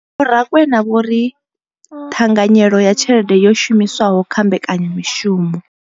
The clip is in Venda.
Vho Rakwena vho ri, ṱhanganyelo ya tshelede yo shumiswaho kha Mbekanya mushumo.